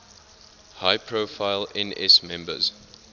high profile ns members